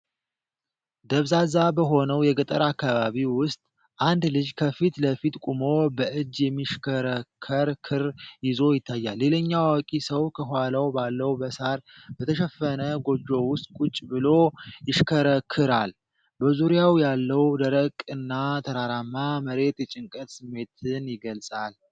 ደብዛዛ በሆነው የገጠር አከባቢ ውስጥ፣ አንድ ልጅ ከፊት ለፊት ቆሞ በእጅ የሚሽከረከር ክር ይዞ ይታያል። ሌላኛው አዋቂ ሰው ከኋላ ባለው በሳር በተሸፈነ ጎጆ ውስጥ ቁጭ ብሎ ይሽከረክራል። በዙሪያው ያለው ደረቅና ተራራማ መሬት የጭንቀት ስሜትን ይገልፃል።